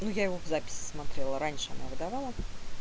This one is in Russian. ну я его в записи смотрела раньше она выдавала